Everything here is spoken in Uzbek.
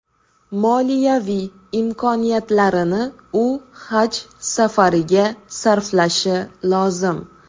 Moliyaviy imkoniyatlarini u Haj safariga sarflashi lozim.